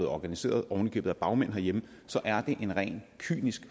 organiseret oven i købet af bagmænd herhjemme så er det en rent kynisk